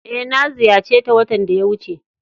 Eh, na ziyace ta watan da ya wuce.